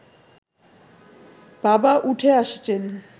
বাবা উঠে আসছেন